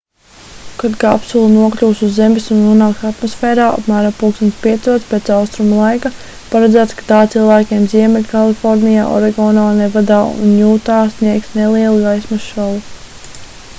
kad kapsula nokļūs uz zemes un nonāks atmosfērā apmēram plkst. 5:00 pēc austrumu laika paredzēts ka tā cilvēkiem ziemeļkalifornijā oregonā nevadā un jūtā sniegs nelielu gaismas šovu